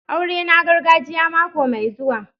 Aurena gargajiya na mako mai zuwa.